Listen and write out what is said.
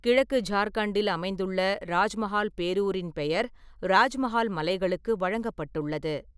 கிழக்கு ஜார்கண்டில் அமைந்துள்ள ராஜ்மஹால் பேரூரின் பெயர் ராஜ்மஹால் மலைகளுக்கு வழங்கப்பட்டுள்ளது.